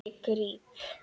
Ég gríp.